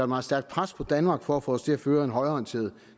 meget stærkt pres på danmark for at få os til at føre en højreorienteret